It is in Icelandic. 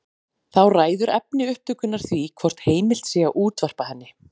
Þá ræður efni upptökunnar því hvort heimilt sé að útvarpa henni.